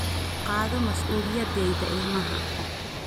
Qaado mas'uuliyaddayda ilmaha